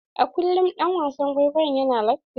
A kullum ɗan wasan kwaikwayon yana latti.